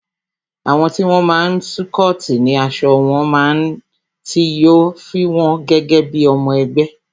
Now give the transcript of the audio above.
Àwọn tí wón máa n scoti ni aṣọ tí wón náà, tí yo fi won gẹ́gẹ́ bí ọmọ ẹgbẹ́